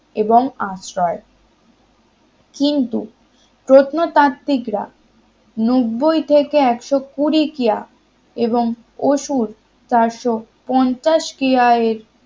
এবং আশ্রয় কিন্তু প্রত্নতাত্ত্বিক রা নব্বই থেকে একশো কুড়ি কিয়া এবং অসুরচারশো পঞ্চাশ কিয়ের